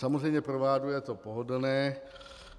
Samozřejmě pro vládu je to pohodlné.